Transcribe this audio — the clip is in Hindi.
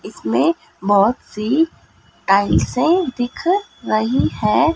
इसमें बहोत सी टाइल्सें से दिख रहे हैं।